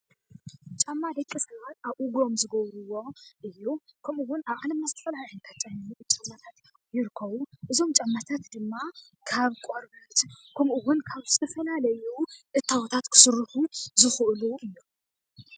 ጫማ ደቂ ሰባት ኣብ እግሮም ዝገብርዎ እዩ። ከምኡውን አብ ዓለምና ዝተፈላለዩ ጫማታት ይርከቡ፡፡ እዞም ጫማታት ድማ ካብ ቆርበት ከምእውን ካብ ዝተፈላለዩ እታወታት ክስርሑ ዝኽእሉ እዮም፡፡